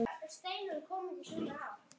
Til þess eru aðrir hæfari.